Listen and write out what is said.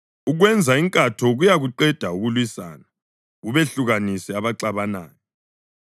Ukwenza inkatho kuyakuqeda ukulwisana, kubehlukanise abaxabanayo.